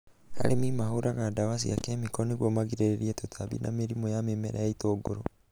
Arĩmi mahũraga ndawa cia kemiko nĩguo magirĩrĩrie tũtambi na mĩrimũ ya mĩmera ya itũngũrũ